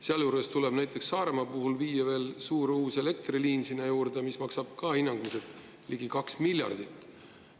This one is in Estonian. Sealjuures tuleb näiteks Saaremaa puhul viia sinna juurde veel uus suur elektriliin, mis maksab hinnanguliselt ligi 2 miljardit.